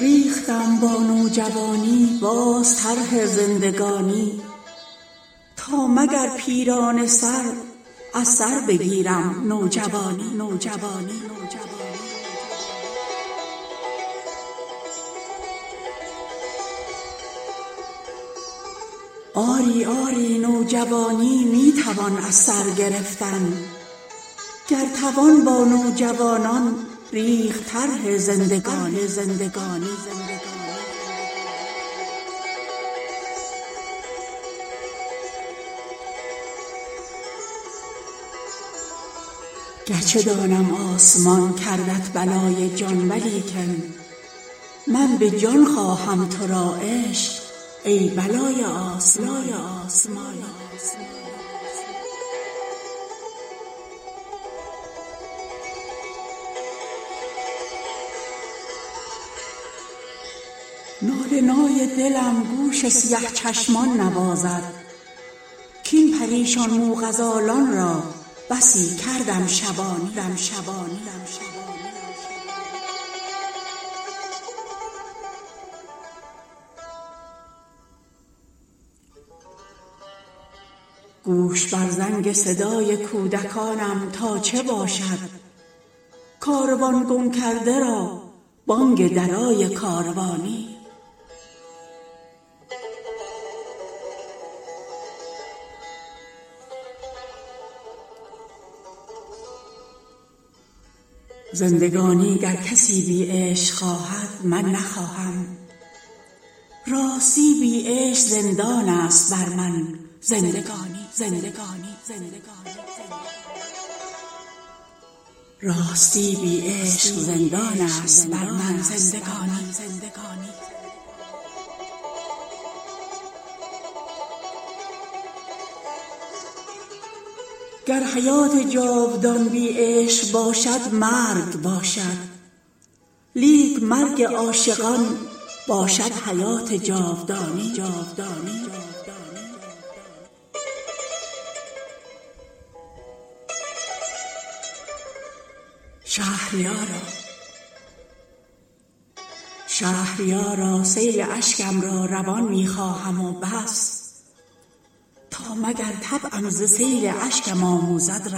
ریختم با نوجوانی باز طرح زندگانی تا مگر پیرانه سر از سر بگیرم نوجوانی آری آری نوجوانی می توان از سرگرفتن گر توان با نوجوانان ریخت طرح زندگانی گرچه دانم آسمان کردت بلای جان ولیکن من به جان خواهم ترا عشق ای بلای آسمانی شادمانی بعد عمری خود به تبریک من آمد راستی تبریک دارد بعد عمری شادمانی غم برون رفت از دل و بی خانمان شد گو ببیند آنچه ما دیدیم ای دل از غم بی خانمانی ماه من با نوجوانی خوب داند قدر عاشق وز چنین بختی جوان پیر تو داند قدردانی مهربان ماه مرا مسکین دلم باور ندارد بس که دیده ست از مه نامهربان نامهربانی ناله نای دلم گوش سیه چشمان نوازد کاین پریشان موغزالان را بسی کردم شبانی گوش بر زنگ صدای کودکانم تا چه باشد کاروان گم کرده را بانگ درای کاروانی زندگانی گر کسی بی عشق خواهد من نخواهم راستی بی عشق زندان است بر من زندگانی گر حیات جاودان بی عشق باشد مرگ باشد لیک مرگ عاشقان باشد حیات جاودانی شهریارا سیل اشکم را روان می خواهم و بس تا مگر طبعم ز سیل اشکم آموزد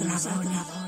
روانی